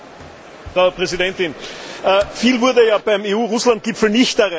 Frau Präsidentin! Viel wurde ja beim EU Russland Gipfel nicht erreicht.